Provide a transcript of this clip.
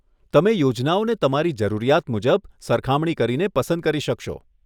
તમે યોજનાઓને તમારી જરૂરિયાત મુજબ સરખામણી કરીને પસંદ કરી શકશો.